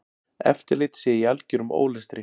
Eftirlit sé í algerum ólestri.